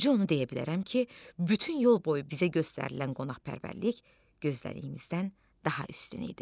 Bircə onu deyə bilərəm ki, bütün yol boyu bizə göstərilən qonaqpərvərlik gözlədiyimizdən daha üstün idi.